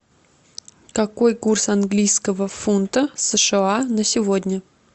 какой курс английского фунта сша на сегодня